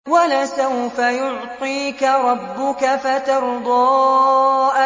وَلَسَوْفَ يُعْطِيكَ رَبُّكَ فَتَرْضَىٰ